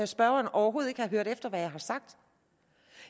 spørgeren overhovedet ikke har hørt efter hvad jeg har sagt